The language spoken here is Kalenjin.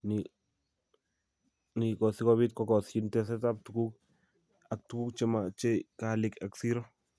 Ni ko si kobiit kogosyin tesetap tuguuk ak tuguuk che machei kaalik ak siro